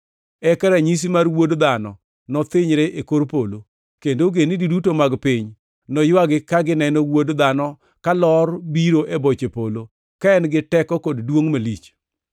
“Eka ranyisi mar Wuod Dhano nothinyre e kor polo, kendo ogendini duto mag piny noywagi ka gineno Wuod Dhano kalor biro e boche polo, ka en gi teko kod duongʼ malich.